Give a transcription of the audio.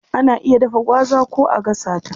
Ana iya dafa gwaza ko a gasa ta.